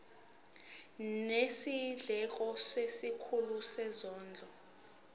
nezindleko kwisikhulu sezondlo